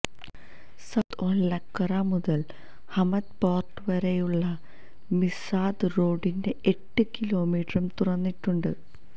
south Al Wakra മുതല് Hamad port വരെയുള്ള Mesaieed റോഡിന്റെ എട്ട് കിലോമീറ്ററും തുറന്നിട്ടുണ്ട്